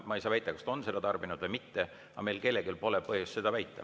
Ma ei saa väita, kas ta on seda tarbinud või mitte, aga meil kellelgi pole põhjust seda väita.